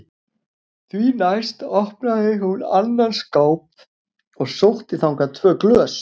Því næst opnaði hún annan skáp og sótti þangað tvö glös.